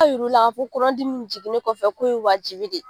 yir'u la k'a fɔ ko kɔnɔdimini jiginni kɔfɛ ko ye wajibi de ye.